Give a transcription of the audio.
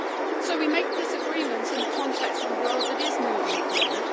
So we are making this agreement in the context of a world that is moving forward.